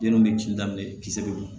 Den nun bɛ kin daminɛ kisɛ bɛ yen